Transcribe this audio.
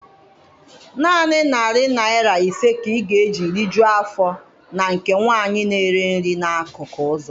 Naanị narị naira ise ka ị ga-eji rijuọ afọ na nke nwanyị na-ere nri na-akụkụ ụzọ.